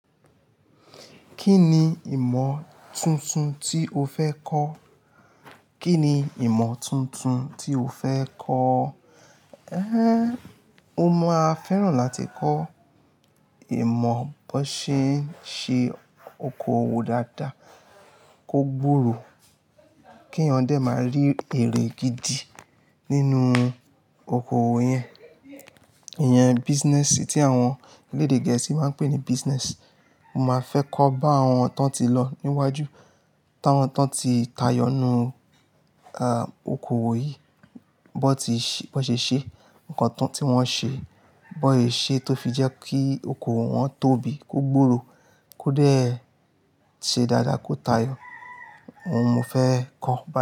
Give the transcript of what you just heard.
Kí ni ìmọ̀ tuntun tí o fẹ́ kọ́? Kí ni ìmọ̀ tuntun tí o fẹ́ kọ́? Mo máa fẹ́ràn láti kọ́ ìmọ̀ bón ṣe ń ṣe okoòwò dáadáa, kó gbòòrò, kí eeyan dẹ́ máa rí èrè gidi nínú okoòwò yẹn. Ìyẹn business tí àwọn elédè gẹ̀ẹ́sì máa ń pè ní business. Mo máa fẹ́ kọ́ bàwọn tón ti lọ níwájú, táwọn tón ti tayọ ninu, okoòwò yìí bón ti, bón ṣe ṣe, ǹkan tán tí wọ́n ṣe, bón sè ṣe tó fi jẹ́ kí okoòwò wọ́n tóbi, kó gbòòrò, kó dé ṣe dáadáa, kó tayọ. Ohun mo fẹ́e kọ́ bá.